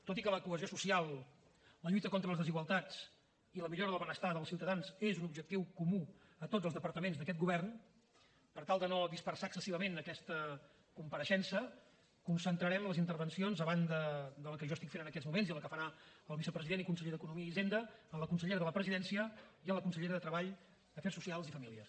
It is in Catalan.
tot i que la cohesió social la lluita contra les desigualtats i la millora del benestar dels ciutadans és un objectiu comú a tots els departaments d’aquest govern per tal de no dispersar excessivament aquesta compareixença concentrarem les intervencions a banda de la que jo estic fent en aquests moments i la que farà el vicepresident i conseller d’economia i hisenda en la consellera de la presidència i en la consellera de treball afers socials i famílies